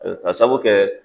k'a sabu kɛ